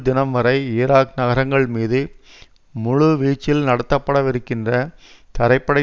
தினம்வரை Iraq நகரங்கள் மீது முழுவீச்சில் நடத்தப்படவிருக்கின்ற தரைப்படை